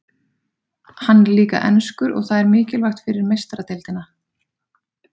Hann er líka enskur og það er mikilvægt fyrir Meistaradeildina.